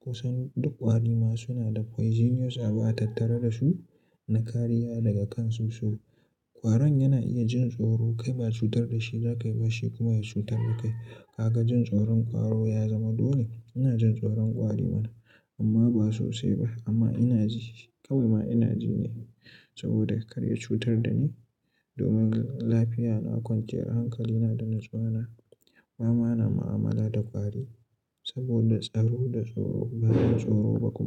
Kusan duk ƙwari ma suna da poisonous abu atattare da su na kariya daga kan su so. Ƙwaron yana iya jin tsoro kai ba cutar da shi za ka yi ba shi kuma ya cutar da kai. Ka ga jin tsoron ƙwaro ya zama dole. Ina jin tsoron ƙwari mana amma ba sosai ba. Amma ina ji shi kawai ma ina ji ne saboda kar ya cutar da ni. Domin lafiya na kwanciyar hankalina da na zuwana, ba ma na mu'amala da ƙwari saboda tsaro da tsoro. Ba na tsoro ba kuma.